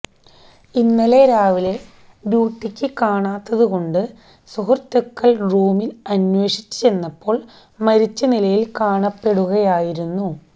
ഇന്നലെ രാവിലെ ഡ്യൂട്ടിക്ക് കാണാത്തത് കൊണ്ട് സുഹൃത്തുക്കൾ റൂമിൽ അന്വേഷിച്ച് ചെന്നപ്പോൾ മരിച്ച നിലയിൽ കാണപ്പെടുകയായിരുന്നു